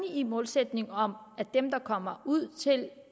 i målsætningen om at dem der kommer ud til de